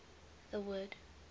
the word